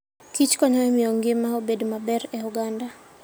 kich konyo e miyo ngima obed maber e oganda.